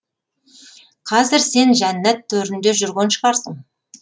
қазір сен жәннат төрінде жүрген шығарсың